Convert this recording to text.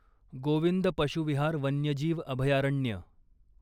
गोविंद पशू विहार वन्यजीव अभयारण्य